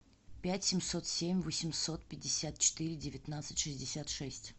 пять семьсот семь восемьсот пятьдесят четыре девятнадцать шестьдесят шесть